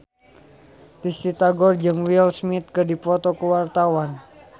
Risty Tagor jeung Will Smith keur dipoto ku wartawan